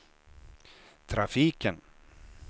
trafiken